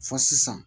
Fɔ sisan